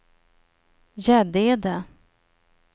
Gäddede